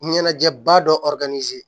Ɲɛnajɛba dɔ